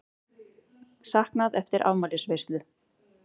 Saknað eftir afmælisveislu